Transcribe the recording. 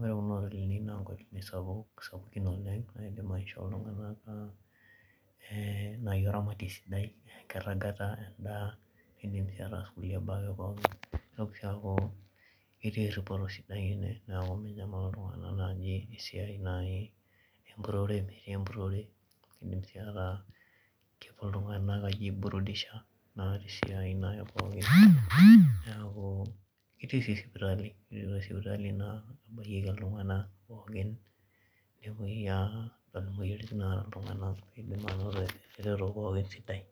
ore kuna hotelini na nkotelini sapuki oleng naaidim aishoo ltunganak naaji oramatie sidai enkiragata endaa keidim sii ataas nkulie baa ake pookin neitoki sii aku ketii eripoto sidain oleng ene niaku minyamal naaji oltungani amu metii empurore kedim sii naaji ltunganak ashom aaiji burudisha[cs[ niaku ketii si sipitali naa naingorieki ltunganak pooki nepuoi naa aingorr moyiaritin naata ltunganak eidimayu naa keiteru pooki sidai